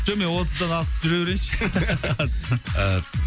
жоқ мен отыздан асып жүре берейінші